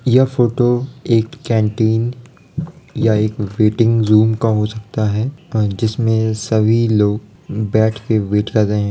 यह फ़ोटो एक केंटिन या एक वेटिंग रूम का हो सकता है अ जिसमे सभी लोग बैठ के वेट कर रहे हैं।